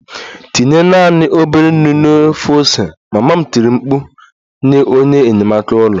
Tinye naanị obere nnu na ofe ose! Mama m tiri mkpu nye onye enyamaka ụlọ